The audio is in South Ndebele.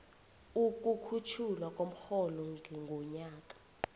ukukhutjhulwa komrholo ngomnyaka